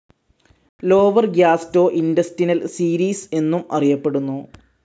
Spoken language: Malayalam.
ലോവർ ഗ്യാസ്റ്റോഇന്റെസ്റ്റിനൽ സീരീസ്‌ എന്നും അറിയപ്പെടുന്നു.